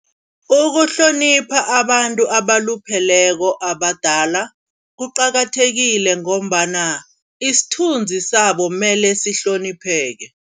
Ukuhlonipha abantu abalupheleko abadala, kuqakathekile ngombana isithunzi sabo kumele sihlonipheke.